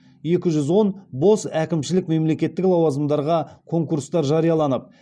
екі жүз он бос әкімшілік мемлекеттік лауазымдарға конкурстар жарияланып